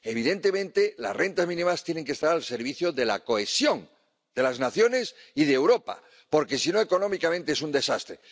Evidentemente, las rentas mínimas tienen que estar al servicio de la cohesión de las naciones y de Europa porque, si no, económicamente es un desastre.